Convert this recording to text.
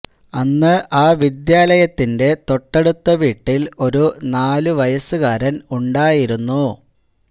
അന്ന് ആ വിദ്യാലയത്തിന്റെ തൊട്ടടുത്ത വീട്ടില് ഒരു നാലു വയസ്സുകാരന് ഉണ്ടായിരുന്നു